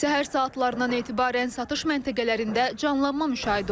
Səhər saatlarından etibarən satış məntəqələrində canlanma müşahidə olunur.